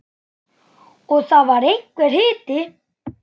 Og það var einhver hiti.